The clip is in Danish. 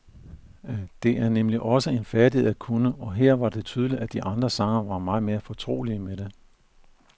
Det er nemlig også en færdighed at kunne, og her var det tydeligt, at de andre sangere var mere fortrolige med det.